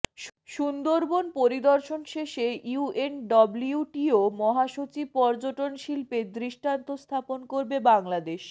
সুন্দরবন পরিদর্শন শেষে ইউএনডব্লিউটিও মহাসচিব পর্যটনশিল্পে দৃষ্টান্ত স্থাপন করবে বাংলাদেশ